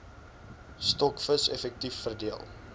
stokvis effektief verdeel